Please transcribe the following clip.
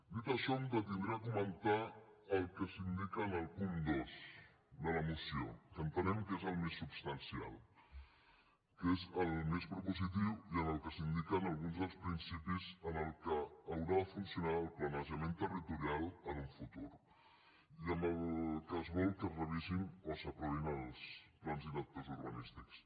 dit això em detindré a comentar el que s’indica en el punt dos de la moció que entenem que és el més substancial que és el més propositiu i en què s’indiquen alguns dels principis amb què haurà de funcionar el planejament territorial en un futur i amb què es vol que es revisin o s’aprovin els plans directors urbanístics